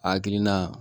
A hakilina